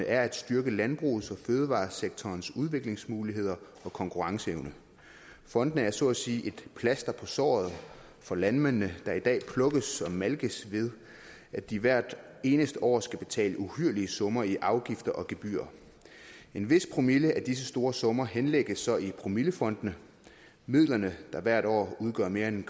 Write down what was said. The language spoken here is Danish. er at styrke landbrugets og fødevaresektorens udviklingsmuligheder og konkurrenceevne fondene er så sige et plaster på såret for landmændene der i dag plukkes og malkes ved at de hvert eneste år skal betale uhyrlige summer i afgifter og gebyrer en vis promille af disse store summer henlægges så i promillefondene midlerne der hvert år udgør mere end en